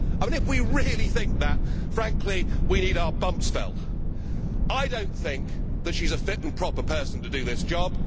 CND? If we really think that, frankly, we need our bumps felt! I do not think she is a fit and proper person to do this